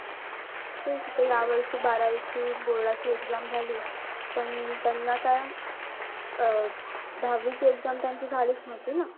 तेच त या वर्षी बारावीची board ची exam झाली. पण त्यांना काय अं दहावीची exam त्यांची झालीच नव्हती ना.